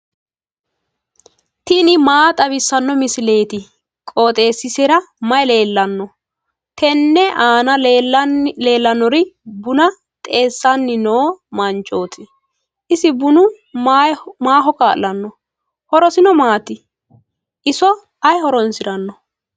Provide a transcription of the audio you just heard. tini maa xawissanno misileeti? qooxeessisera may leellanno? tenne aana leellannori buna xeessanni no manchooti. isi bunu maaho kaa'lanno? horosino maati? iso ayi horoonsiranno?